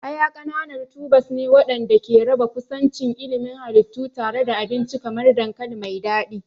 Aya ƙananan tubers ne waɗanda ke raba kusancin ilimin halittu tare da abinci kamar dankali mai daɗi.